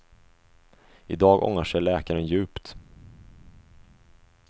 I dag ångrar sig läkaren djupt.